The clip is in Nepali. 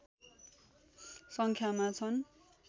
सङ्ख्यामा छन्